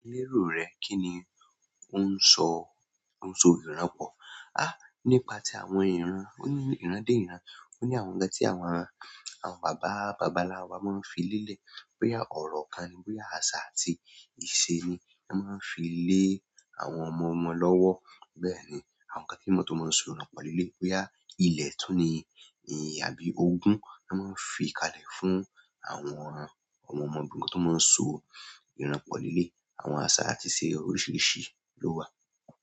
Lérò rẹ kí ni ó ń sọ, ó ń sọ ìranpọ̀? Há! Nípa ti àwọn ìran. Ó ní ìran dé ìran. Ó ní àwọn ǹkan tí àwọn ará, àwọn bàbá bàbàlábà máa ń fi lélẹ̀. Boya ọrọ kan ni. Boya àṣà àti ìṣe ni wọ́n máa ń fi lé àwọn ọmọ ọmọ lọ́wọ́. Bẹ́ẹ̀ni àwọn nkán to máa so orin pọ le le boya ilẹ̀ tún ni àbí ogún ló máa ń fi kalẹ̀ fún àwọn ọmọ ọmọ bí ǹkan tó máa ń so ìranpọ̀ líle. Àwọn àṣà àti ìṣe oríṣiríṣi ló wà.